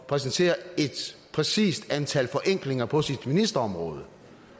præsentere et præcist antal forenklinger på sit ministerområde